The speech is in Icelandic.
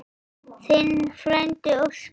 Þinn frændi Óskar.